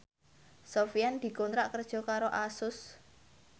Sofyan dikontrak kerja karo Asus